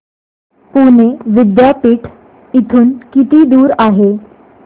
पुणे विद्यापीठ इथून किती दूर आहे